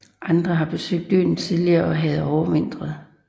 Andre havde besøgt øen tidligere og havde overvintret